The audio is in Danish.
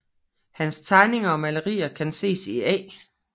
Hans tegninger og malerier kan ses i A